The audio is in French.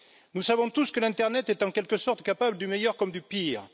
Nous savons tous que l'internet est en quelque sorte capable du meilleur comme du pire.